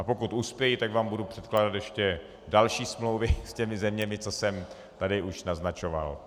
A pokud uspěji, tak vám budu předkládat ještě další smlouvy s těmi zeměmi, co jsem tady už naznačoval.